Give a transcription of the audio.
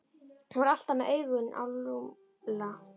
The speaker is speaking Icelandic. Hún var alltaf með augun á Lúlla.